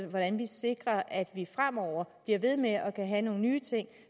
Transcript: hvordan vi sikrer at vi fremover bliver ved med at kunne have nogle nye ting